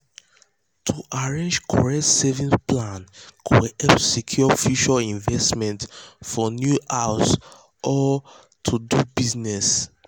to arrange correct savings plan go help secure future investments for new house or to house or to do business.